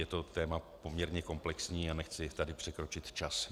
Je to téma poměrně komplexní a nechci tady překročit čas.